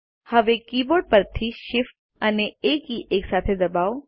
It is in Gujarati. હવે કીબોર્ડ પરથી Shift અને એ કી એકસાથે દબાવો